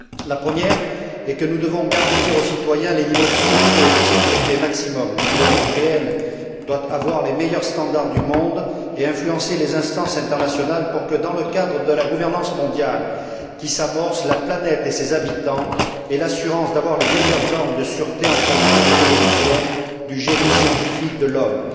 La première est que nous devons garantir aux citoyens les niveaux de sûreté, de sécurité maximums. L'Union européenne doit avoir les meilleurs standards du monde et influencer les instances internationales pour que, dans le cadre de la gouvernance mondiale qui s'amorce, la planète et ses habitants aient l'assurance d'avoir les meilleures normes de sûreté en fonction des évolutions du génie scientifique de l'homme.